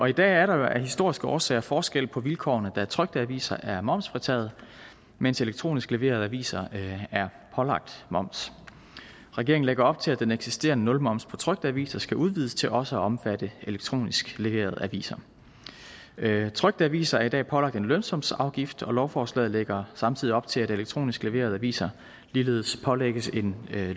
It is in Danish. i dag er der af historiske årsager forskel på vilkårene da trykte aviser er momsfritaget mens elektronisk leverede aviser er pålagt moms regeringen lægger op til at den eksisterende nulmoms på trykte aviser skal udvides til også at omfatte elektronisk leverede aviser trykte aviser er i dag pålagt en lønsumsafgift og lovforslaget lægger samtidig op til at elektronisk leverede aviser ligeledes pålægges en